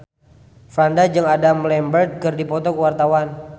Franda jeung Adam Lambert keur dipoto ku wartawan